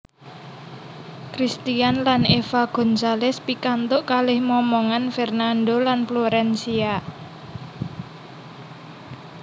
Cristian lan Eva Gonzales pikantuk kalih momongan Fernando lan Florencia